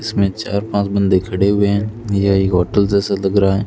इसमें चार पांच बंदे खड़े हुए है ये होटल जैसा लग रहा है।